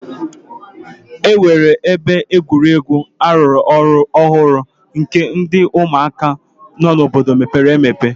E nwere ebe egwuregwu ọlọrọ ọhụrụ nke ndị ụmụaka nọ n'obodo mepere emepe.